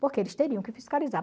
Porque eles teriam que fiscalizar.